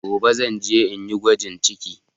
Gobe zan je inyi gwajin ciki